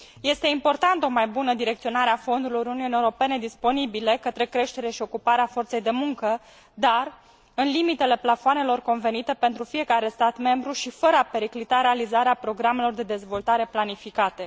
Este importantă o mai bună direcționare a fondurilor Uniunii Europene disponibile către creștere și ocuparea forței de muncă, dar în limitele plafoanelor convenite pentru fiecare stat membru și fără a periclita realizarea programelor de dezvoltare planificate.